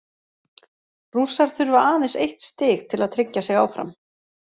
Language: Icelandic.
Rússar þurfa aðeins eitt stig til að tryggja sig áfram.